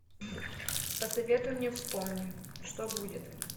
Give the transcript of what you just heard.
посоветуй мне вспомни что будет